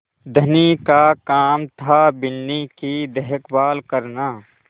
धनी का काम थाबिन्नी की देखभाल करना